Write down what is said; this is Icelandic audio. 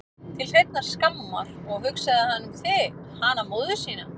Til hreinnar skammar, og hugsaði hann um þig, hana móður sína?